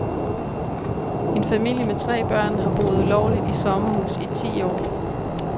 En familie med tre børn har boet ulovligt i sommerhus i ti år.